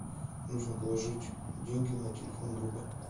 нужно положить деньги на телефон друга